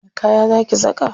Wani kaya za ki saka?